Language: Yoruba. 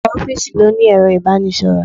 Ọ̀pọ̀ ofiisi ló ní ero ibanisoro.